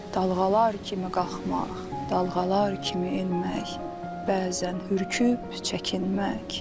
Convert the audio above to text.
Dalğalar kimi qalxmaq, dalğalar kimi enmək, bəzən hürkür çəkinmək.